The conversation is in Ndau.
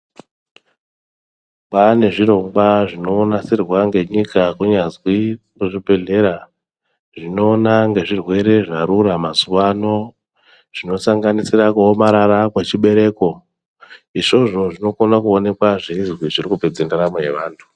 Kwane zvirongwa zvinonasirwa ngenyika kunyazwi kuzvibhehlera zvinoona ngezve zvirwere zvarura mazuvano zvinosanganisira kuomarara kweichibereko izvozvo zvinokana onekwa zveizwi zvirikupedza ndaramo yevantu.